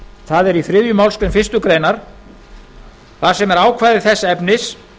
það er í þriðju málsgrein fyrstu grein þar sem er ákvæði þess efnis